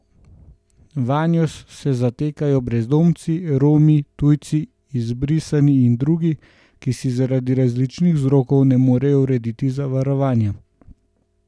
Vanjo se zatekajo brezdomci, Romi, tujci, izbrisani in drugi, ki si zaradi različnih vzrokov ne morejo urediti zavarovanja.